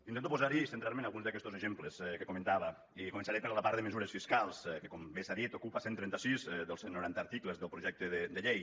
intento posar hi i centrar me en alguns d’aquestos exemples que comentava i començaré per la part de mesures fiscals que com bé s’ha dit ocupa cent i trenta sis dels cent i noranta articles del projecte de llei